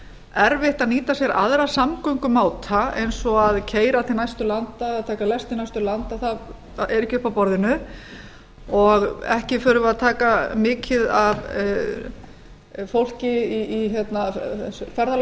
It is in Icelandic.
erfitt að nýta sér aðra samgöngumáta eins og að keyra til næstu taka lestina það er ekki uppi á borðinu og ekki þurfi að taka mikið af fólki í ferðalag